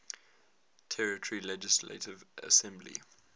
territory legislative assembly